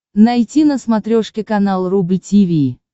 найти на смотрешке канал рубль ти ви